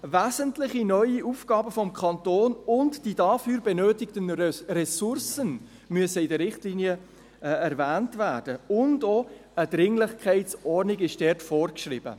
] wesentliche neue Aufgaben des Kantons » müssen in den Richtlinien erwähnt werden, und auch eine Dringlichkeitsordnung ist dort vorgeschrieben.